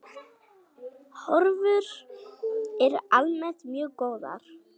Horfur eru almennt mjög góðar.